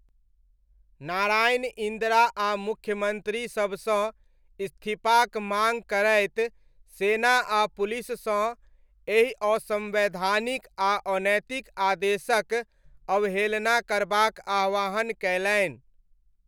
नारायण इन्दिरा आ मुख्यमन्त्री सबसँ इस्तीफाक माङ्ग करैत सेना आ पुलिससँ एहि असंवैधानिक आ अनैतिक आदेशक अवहेलना करबाक आह्वान कयलनि।